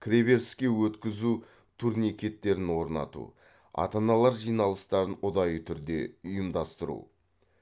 кіреберіске өткізу турникеттерін орнату ата аналар жиналыстарын ұдайы түрде ұйымдастыру